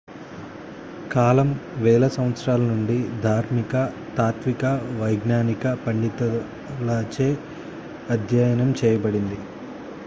కాలం వేల సంవత్సరాల నుండి ధార్మిక తాత్విక వైజ్ఞానిక పండితుల చే అధ్యయనం చేయబడింది